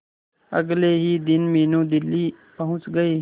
अगले ही दिन मीनू दिल्ली पहुंच गए